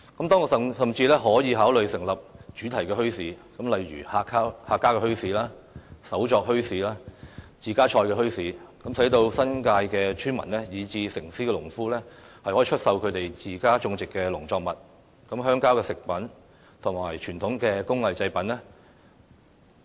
當局甚至可考慮成立主題墟市，如客家墟市、手作墟市、自家菜墟市，讓新界村民，以至城市的農夫能出售自家種植的農作物、鄉郊食品和傳統工藝製品。